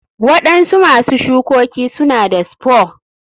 Waɗansu masu shukoki suna da spore.